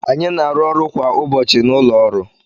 Anyị na-arụ ọrụ kwa ụbọchị na ụlọ ọrụ